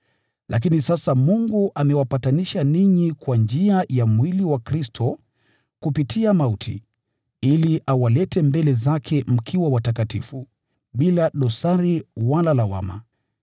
Lakini sasa Mungu amewapatanisha ninyi kwa njia ya mwili wa Kristo kupitia mauti, ili awalete mbele zake mkiwa watakatifu, bila dosari wala lawama,